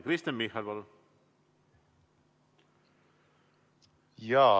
Kristen Michal, palun!